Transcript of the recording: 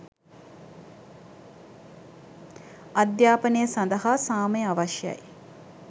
අධ්‍යාපනය සඳහා සාමය අවශ්‍යයි.